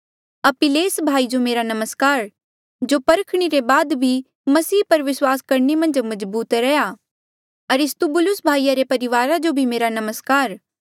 अपिल्लेस भाई जो मेरा नमस्कार जो परखणी रे बाद भी मसीह पर विस्वास करणे मन्झ मजबूत रह्या अरिस्तुबुलुस भाईया रे परिवारा जो भी मेरा नमस्कार